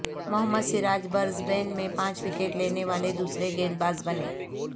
محمد Siraj Brisbane میں پانچ wicket لینے والےدوسرے گیندبازبنے